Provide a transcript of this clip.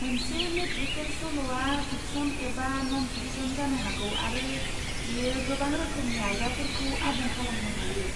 मोनसे मेट्रिकेल सल'आ फिकसन एबा न'न फिकसन जानो हागौ आरो बेयो गोबां रोखोमनि आयदाफोरखौ आबुं खालामनो हायो।